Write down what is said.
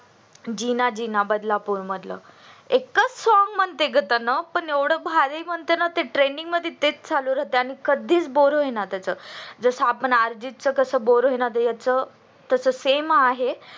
जिना जिना बदलापूर मधल एकच song म्हटलंय त्यांनी पण एव्हड भारी म्हणतंय ना ते trending मध्ये टेक चालू राहतय कधीच boar होई ना त्याच जस आपल अर्जित च कस boar होईना तस त्याच same आहे